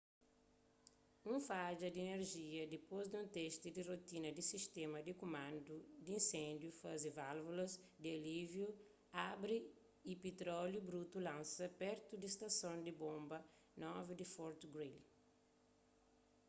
un fadja di inerjia dipôs di un testi di rotina di sistéma di kumandu di inséndiu faze válvulas di alíviu abri y pitróliu brutu lansa pertu di stason di bonba 9 di fort greely